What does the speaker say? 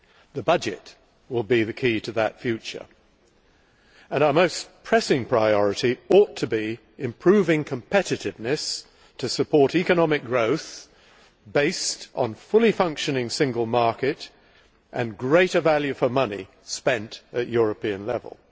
The budget will be the key to that future, and our most pressing priority ought to be improving competitiveness to support economic growth based on a fully functioning single market and greater value for money spent at European level.